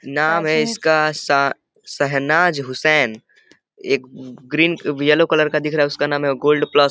नाम है इसका सा सहेनाज हुसैन। एक ग्रीन ब येलो कलर का दिख रहा है उसका नाम है गोल्ड प्लस ।